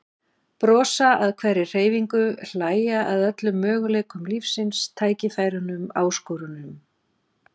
Brosa að hverri hreyfingu, hlæja að öllum möguleikum lífsins, tækifærunum, áskorununum.